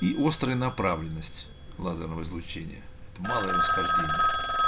и острая направленность лазерного излучения это малое расхождение